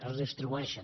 es distribueixen